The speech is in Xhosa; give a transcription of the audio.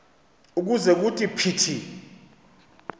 ukuze kuthi phithi